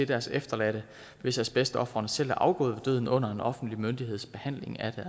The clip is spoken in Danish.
deres efterladte hvis asbestofrene selv er afgået ved døden under en offentlig myndigheds behandling af